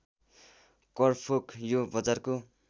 करफोक यो बजारको